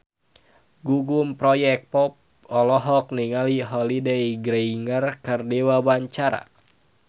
Gugum Project Pop olohok ningali Holliday Grainger keur diwawancara